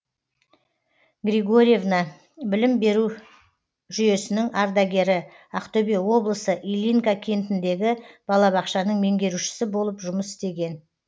григорьевна білім беру жүйесінің ардагері ақтөбе облысы ильинка кентіндегі балабақшаның меңгерушісі болып жұмыс істеген